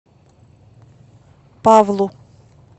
павлу